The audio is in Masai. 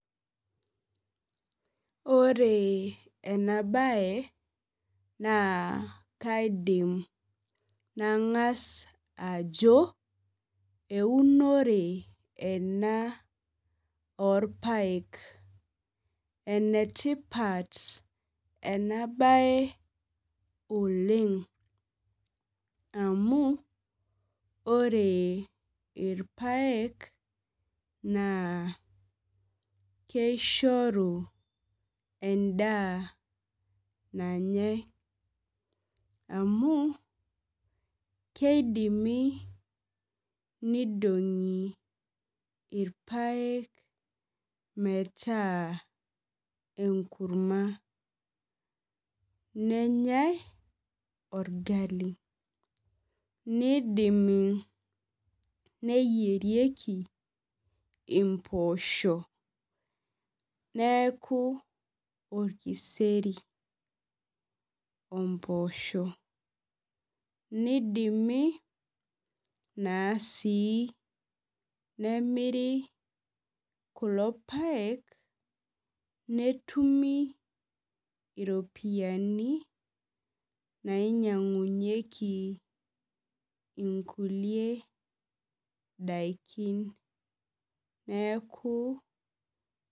Ore ena baye naa kaidim nang'as ajo eunore ena orpayek enetipat ena baye oleng amu ore irpayek naa keishoru endaa nanyae amu keidimi neidong'i irpayek metaa enkurma nenyae orgali nidimi neyierieki impoosho neeku orkiseri ompoosho nidimi naa sii nemiri kulo payek netumi iropiyiaini nainyiang'unyieki inkulie daikin neeku.